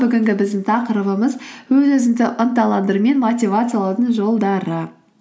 бүгінгі біздің тақырыбымыз өз өзіңді ынталандыру мен мотивациялаудың жолдары